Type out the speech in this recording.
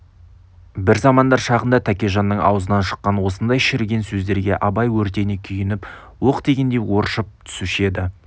бір замандар шағында тәкежанның аузынан шыққан осындай шіріген сөздерге абай өртене күйініп оқ тигендей оршып түсуші еді